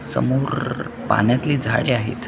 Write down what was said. समोर पाण्यातली झाडे आहेत.